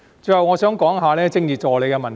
最後，我想談談政治助理的問題。